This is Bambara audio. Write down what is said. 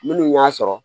Minnu y'a sɔrɔ